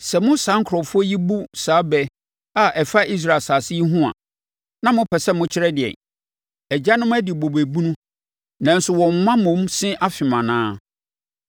“Sɛ mo saa nkurɔfoɔ yi bu saa bɛ a ɛfa Israel asase yi ho a, na mopɛ sɛ mokyerɛ ɛdeɛn: “ ‘Agyanom adi bobe bunu, nanso wɔn mma mmom se afem anaa?’